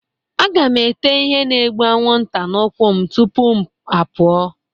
Aga m ete ihe na-egbu anwụnta n'ụkwụ m tupu m apụọ